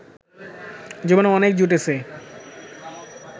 জীবনে অনেক জুটেছে